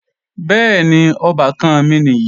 Bẹ́ẹ̀ni, ọbàkan mi nìyí